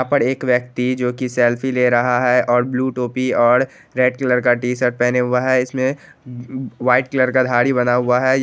यहां पर एक व्यक्ति जो कि सेल्फ़ी ले रहा है और ब्लू टोपी और रेड कलर का टी-शर्ट पहने हुआ है इसमे व-व्हाइट कलर का धारी बना हुआ है।